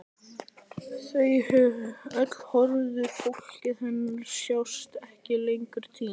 Þau öll horfin, fólkið hennar, sjást ekki lengur, týnd.